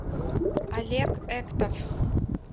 олег эктов